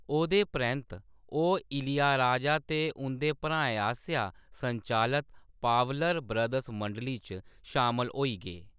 ओह्‌दे परैंत्त, ओह् इलैयाराजा ते उं'दे भ्राएं आसेआ संचालत पावलर ब्रदर्स मंडली च शामल होई गे।